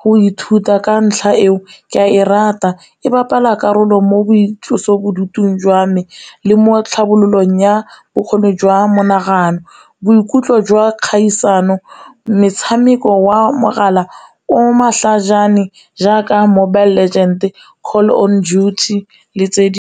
go ithuta ka ntlha eo, ke a e rata e bapala karolo mo boitlosobodutu jwa me le mo tlhabololong ya bokgoni jwa monagano. Boikutlo jwa kgaisano, metshameko wa mogala o matlhajana, jaaka Mobile legend, Call of Duty le tse di.